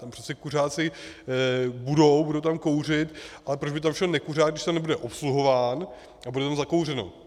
Tam přece kuřáci budou, budou tam kouřit, a proč by tam šel nekuřák, když tam nebude obsluhován a bude tam zakouřeno?